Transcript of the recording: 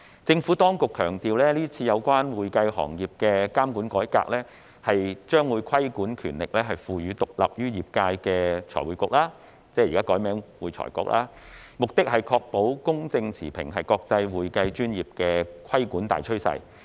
政府當局強調今次有關會計行業的監管改革，將規管權力賦予獨立於業界的財務匯報局)，目的是要確保公正持平，是國際會計專業的規管大趨勢。